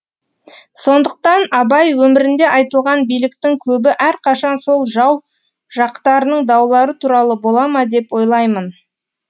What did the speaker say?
сондықтан абай өмірінде айтылған биліктің көбі әрқашан сол жау жақтарының даулары туралы бола ма деп ойлаймын